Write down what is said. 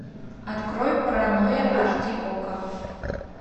открой паранойя аш ди окко